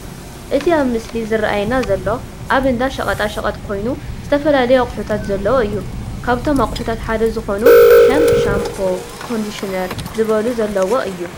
እቲ ኣብዚ ምስሊ ዝረኣየና ዘሎ ኣብ እንዳ ሸቀጣ ሸቀጥ ኮይኑ ዝተፈላለዩ ኣቁሑታት ዘለዎ እዩ። ካብቶም ኣቁሑታት ሓደ ዝኮኑ ከም ሻምቦ ፣ ኮንድሽነር ዝበሉ ዘለዎ እዩ።